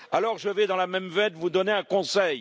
Alors, je vais, dans la même veine, vous donner un conseil.